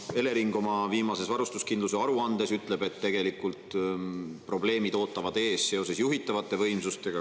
Elering oma viimases varustuskindluse aruandes ütleb, et tegelikult probleemid ootavad ees seoses juhitavate võimsustega.